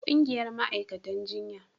ƙungiyar ma'aikatan jinya